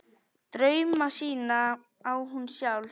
Drauma sína á hún sjálf.